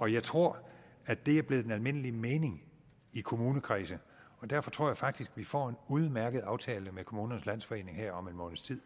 og jeg tror at det er blevet den almindelige mening i kommunekredse og derfor tror jeg faktisk at vi får en udmærket aftale med kommunernes landsforening her om en måneds tid